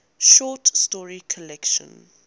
short story collection